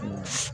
Unhun